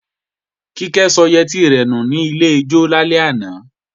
Kíkẹ́ sọ yẹtí rẹ̀ nù ní klọ́ọ̀bù lálẹ́ àná